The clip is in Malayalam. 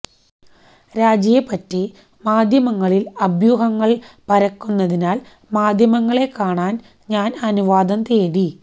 രാജിയെപ്പറ്റി മാധ്യമങ്ങളില് അഭ്യൂഹങ്ങള് പരക്കുന്നതിനാല് മാധ്യമങ്ങളെ കാണാന് ഞാന് അനുവാദം തേടി